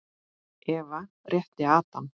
Eva rétti Adam.